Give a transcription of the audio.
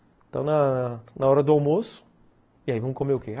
Então, na... na hora do almoço... E aí, vamos comer o quê?